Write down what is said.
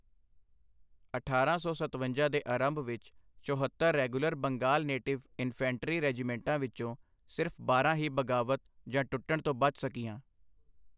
ਅਠਾਰਾਂ ਸੌ ਸਤਵੰਜਾ ਦੇ ਅਰੰਭ ਵਿੱਚ ਚੋਹਤੱਰ ਰੈਗੂਲਰ ਬੰਗਾਲ ਨੇਟਿਵ ਇਨਫੈਂਟਰੀ ਰੈਜੀਮੈਂਟਾਂ ਵਿੱਚੋਂ ਸਿਰਫ ਬਾਰਾਂ ਹੀ ਬਗਾਵਤ ਜਾਂ ਟੁੱਟਣ ਤੋਂ ਬਚ ਸਕੀਆਂ।